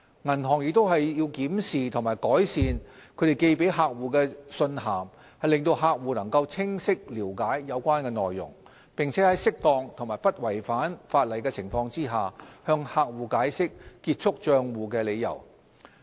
銀行亦須檢視和改善致客戶的信函，令客戶能清晰了解有關內容，並在適當和不違反法例的情況下，向客戶解釋結束帳戶的理由。